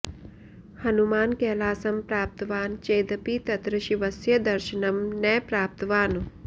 हनुमान् कैलासं प्राप्तवान् चेदपि तत्र शिवस्य दर्शनं न प्राप्तवान्